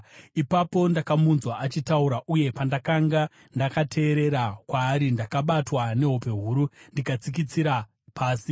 Ipapo ndakamunzwa achitaura, uye pandakanga ndakateerera kwaari, ndakabatwa nehope huru, ndikatsikitsira pasi.